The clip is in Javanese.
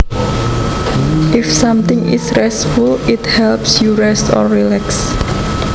If something is restful it helps your rest or relax